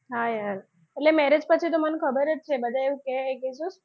હા યાર એટલે marriage પછી તો મને ખબર જ છે કે બધા એવું કે કે જો,